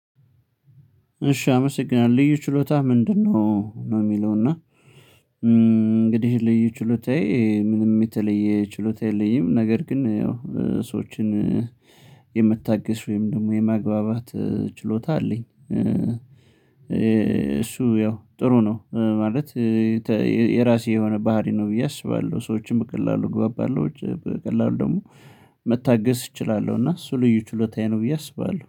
እሺ አመሰግናለሁ ልዩ ችሎታህ ምንድነው ነው? ሚለው እና እም እንግዲህ ልዩ ችሎታዬ ምንም የተለየ ችሎታ የለኝም ነገር ግን ያው ሰዎችን የመታገስ ወይም ደግሞ የማግባባት ችሎታ አለኝ። እ እሱ ያው ጥሩ ነው ማለት እ የራሴ የሆነ ባህሪ ነው ብዬ አስባለሁ። ሰዎችም በቀላሉ እግባባለሁ በቀላሉ ደግሞ መታገስ እችላለሁ እና እሱ ልዩ ችሎታዬ ነው ብዬ አስባለሁ